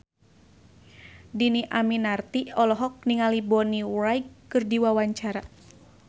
Dhini Aminarti olohok ningali Bonnie Wright keur diwawancara